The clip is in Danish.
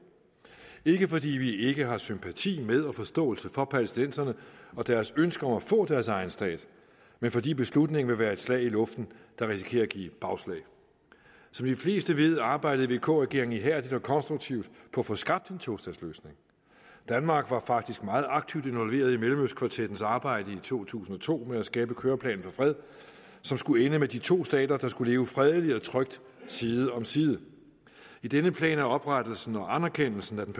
ikke fordi vi ikke har sympati med og forståelse for palæstinenserne og deres ønske om at få deres egen stat men fordi beslutningen vil være et slag i luften der risikerer at give bagslag som de fleste ved arbejdede vk regeringen ihærdigt og konstruktivt på at få skabt en tostatsløsning danmark var faktisk meget aktivt involveret i mellemøstkvartettens arbejde i to tusind og to med at skabe køreplanen for fred som skulle ende med de to stater der skulle leve fredeligt og trygt side om side i denne plan er oprettelsen og anerkendelsen af den